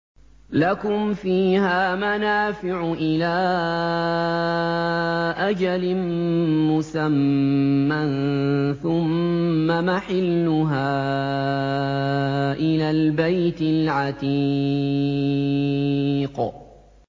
لَكُمْ فِيهَا مَنَافِعُ إِلَىٰ أَجَلٍ مُّسَمًّى ثُمَّ مَحِلُّهَا إِلَى الْبَيْتِ الْعَتِيقِ